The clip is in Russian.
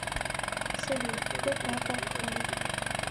салют кто папа хам